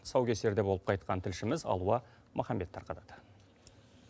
тұсаукесерде болып қайтқан тілшіміз алуа маханбет тарқатад